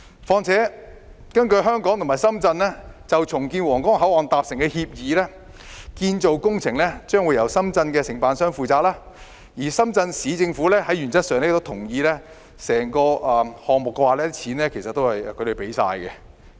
況且，根據香港和深圳就重建皇崗口岸達成的協議，建造工程將會由深圳承辦商負責，深圳市政府原則上亦同意承擔整個項目的費用。